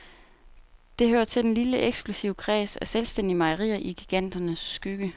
Det hører til den lille eksklusive kreds af selvstændige mejerier i giganternes skygge.